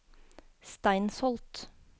Steinsholt